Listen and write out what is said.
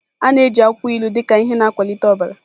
A na-eji akwụkwọ ilu dị ka ihe na-akwalite ọbara.